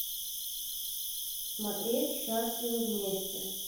смотреть счастливы вместе